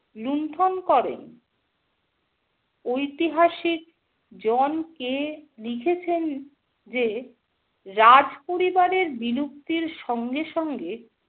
লুণ্ঠন করেন। ঐতিহাসিক জন. কে. লিখেছেন যে রাজপরিবারের বিলুপ্তির সঙ্গে সঙ্গে